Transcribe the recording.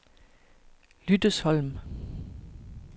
Lyttesholm